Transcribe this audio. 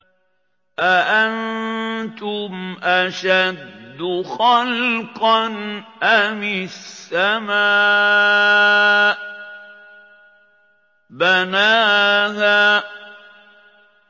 أَأَنتُمْ أَشَدُّ خَلْقًا أَمِ السَّمَاءُ ۚ بَنَاهَا